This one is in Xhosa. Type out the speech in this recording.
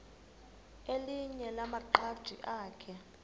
elinye lamaqhaji akhe